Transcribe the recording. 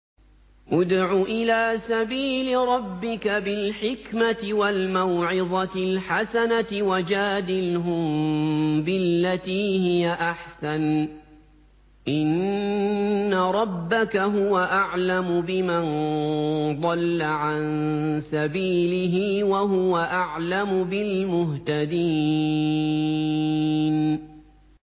ادْعُ إِلَىٰ سَبِيلِ رَبِّكَ بِالْحِكْمَةِ وَالْمَوْعِظَةِ الْحَسَنَةِ ۖ وَجَادِلْهُم بِالَّتِي هِيَ أَحْسَنُ ۚ إِنَّ رَبَّكَ هُوَ أَعْلَمُ بِمَن ضَلَّ عَن سَبِيلِهِ ۖ وَهُوَ أَعْلَمُ بِالْمُهْتَدِينَ